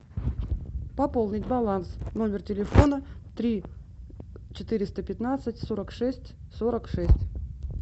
пополнить баланс номер телефона три четыреста пятнадцать сорок шесть сорок шесть